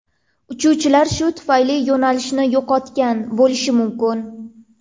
Uchuvchilar shu tufayli yo‘nalishni yo‘qotgan bo‘lishi mumkin.